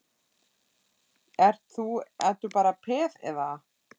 Ert þú, ert þú bara peð, eða?